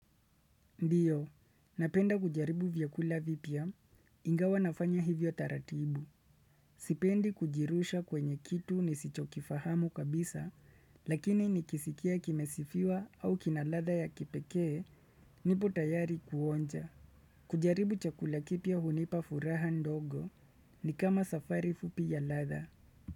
Ndio, napenda kujaribu vyakula vipya, ingawa nafanya hivyo taratibu. Sipendi kujirusha kwenye kitu nisichokifahamu kabisa, lakini nikisikia kimesifiwa au kinaladha ya kipekee, nipo tayari kuonja. Kujaribu chakula kipya hunipa furaha ndogo, nikama safari fupi ya ladha.